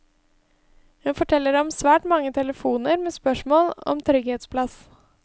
Hun forteller om svært mange telefoner med spørsmål om trygghetsplass.